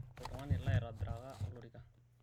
oltungani laitobiraka olorika